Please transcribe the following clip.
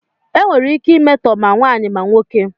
Enwere ike imetọ ma nwaanyị ma nwoke.